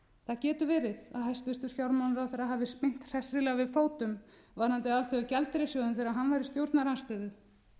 hæstvirtur fjármálaráðherra hafi spyrnt hressilega við fótum varðandi alþjóðagjaldeyrissjóðinn þegar hann var í stjórnarandstöðu